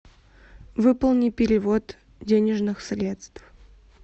выполни перевод денежных средств